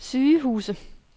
sygehuse